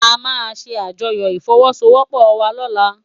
Amá sé ájòyò ifòwòsówòpò wá lòlá